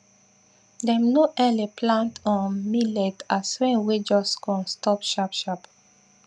dem no early plant um millet as rain wey just come stop sharp sharp